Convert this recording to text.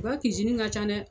I ka ka ca dɛ.